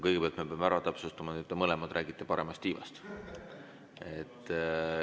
Kõigepealt me peame ära täpsustama, et te mõlemad räägite paremast tiivast.